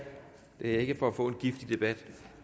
ikke for få en giftig debat